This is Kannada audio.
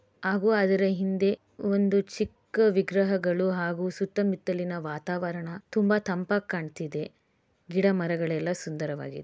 ಹಾಗೂ ಅದರ ಹಿಂದೆ ಚಿಕ್ಕ ವಿಗ್ರಹಗಳು ಸುತ್ತಮುತ್ತಲಿನ ವಾತಾವರಣ ತಂಪಾಗಿ ಕಾಣಿಸುತ್ತಿದೆ ಗಿಡ ಮರಗಳೆಲ್ಲ ಸುಂದರವಾಗಿದೆ.